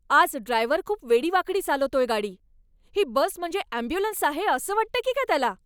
आज ड्रायव्हर खूप वेडीवाकडी चालवतोय गाडी. ही बस म्हणजे ॲम्ब्युलन्स आहे असं वाटतंय की काय त्याला?